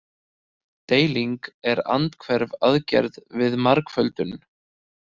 Deiling er andhverf aðgerð við margföldun.